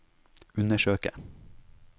undersøke